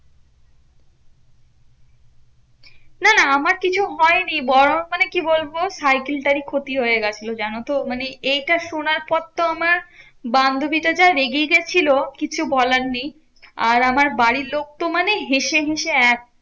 না না আমার কিছু হয়নি, বরং মানে কি বলবো? সাইকেল টারই ক্ষতি হয়ে গেছিলো জানতো? মানে এইটা শোনার পর তো আমার বান্ধবী টা যা রেগে গেছিল কিছু বলার নেই। আর আমার বাড়ির লোক তো মানে হেঁসে হেঁসে এক।